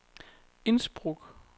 Innsbruck